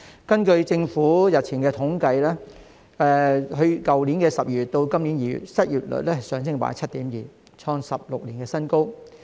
根據政府日前的統計，去年12月至今年2月的失業率上升 7.2%， 創16年的新高。